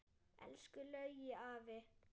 Elsku Laugi afi.